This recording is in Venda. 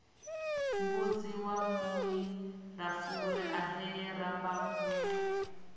mbudzi wa muilafuri ahee rambau